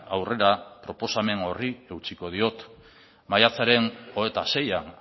aurrera proposamen horri eutsiko diot maiatzaren hogeita seian